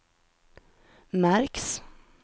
märks